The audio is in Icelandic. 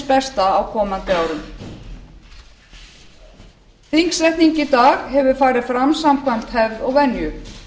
besta á komandi árum þingsetning í dag hefur farið fram samkvæmt hefð og venju